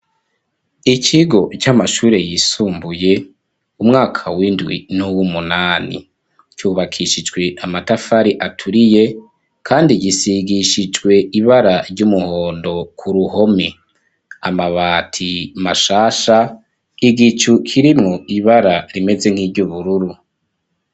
Ikigo c'amashure yisumbuye, umwaka w'indwi nuw'umunani. Cubakishijwe amatafari aturiye kandi gisigishijwe ibara ry'umuhondo ku ruhome. Amabati mashasha, igicu kirmwo ibara rimeze nkiry'ubururu.